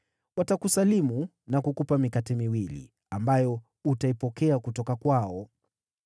Watakusalimu na kukupa mikate miwili, ambayo utaipokea kutoka kwao.